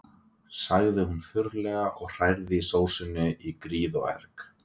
sagði hún þurrlega og hrærði í sósunni í gríð og erg.